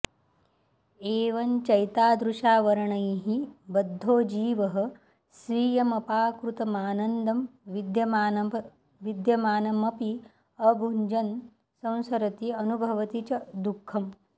एवं चैतादृशावरणैः बध्दो जीवः स्वीयमपाकृतमानन्दं विद्यमानमपि अभुञ्जन् संसरति अनुभवति च दुःखम्